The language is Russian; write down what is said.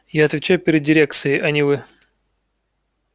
я отвечаю перед дирекцией а не вы